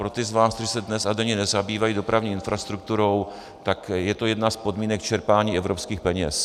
Pro ty z vás, kteří se dnes a denně nezabývají dopravní infrastrukturou, tak je to jedna z podmínek čerpání evropských peněz.